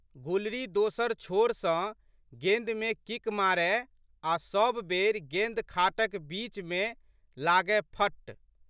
गुलरी दोसर छोर सँ गेंदमे किक मारय आ' सब बेरि गेंद खाटक बीचमे लागएफट्।